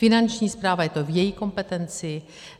Finanční správa, je to v její kompetenci.